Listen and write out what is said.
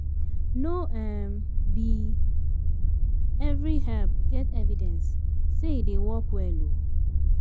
No um be every herb get evidence sey e dey work well um